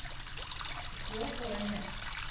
Og svo fór hann í meðferð